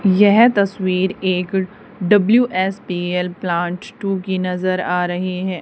यह तस्वीर एक डब्ल्यू_एस_पी_एल प्लांट टू की नजर आ रही है।